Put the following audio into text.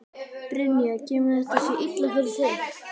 Brynja: Kemur þetta sér illa fyrir þig?